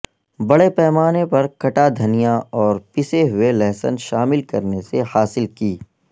بڑے پیمانے پر کٹا دھنیا اور پسے ہوئے لہسن شامل کرنے سے حاصل کی